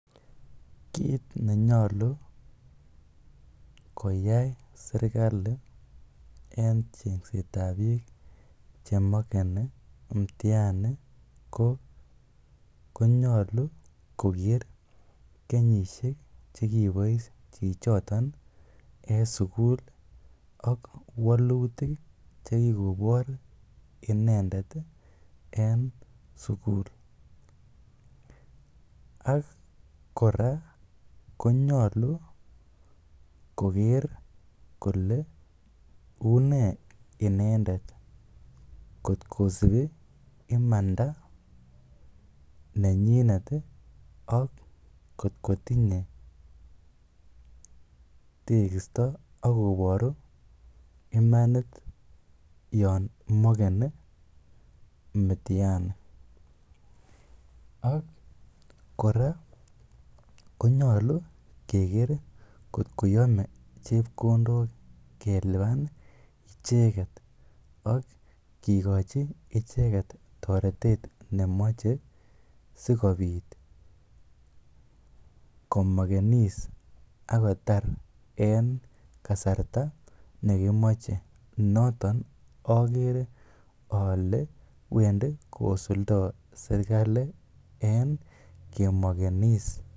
Kiit nenyolu koyai serkalit en chengset ab biik chemakeni mitihani konyolu koger kenyishek che kibois chichoton en sugul ak walutik che kigobor inendet en sugul. Ak kora konyolu koger kole une inendet kotkosibi imanda nenyinet ak kotko tinye tegisto ak koburu imanit yon makeni mitihani Ak kora konyolu keger kotko yome chepkondok kelipan icheget ak kigochi toretet neyome sikobit komakenis ak kotar en kasarta nekimoche, noton ogere ole wendi kosuldo serkalit en kimakenis.